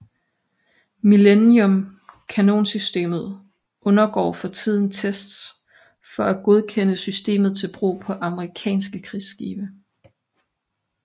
Millennium kanonsystemet undergår for tiden tests for at godkende systemet til brug på amerikanske krigsskibe